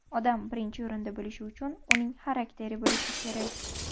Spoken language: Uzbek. Odam birinchi o‘rinda bo‘lishi uchun uning xarakteri bo‘lishi kerak.